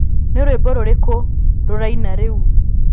Nĩ rwĩmbo rũrĩkũ rũraina rĩu